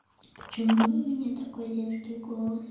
почему у меня такой детский голос